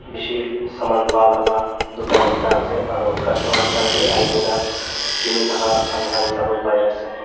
bishi saman palaka dukan ekta ase aro costumers khan bi ahikena kinithaka amekhan sawo parease.